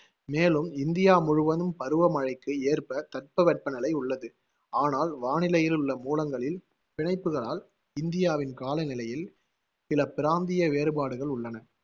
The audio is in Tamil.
மேலும் இந்தியா முழுவதும் பருவ மழைக்கு ஏற்ப தட்பவெப்பநிலை உள்ளது. ஆனால் வானிலையிலுள்ள மூலங்களில் பிணைப்புகளால் இந்தியாவின் காலநிலையில் சில பிராந்திய வேறுபாடுகள் உள்ளன.